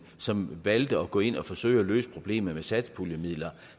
som valgte at gå ind og forsøge at løse problemet med satspuljemidler